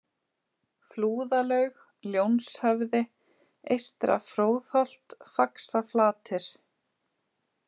Flúðalaug, Ljónshöfði, Eystra-Fróðholt, Faxaflatir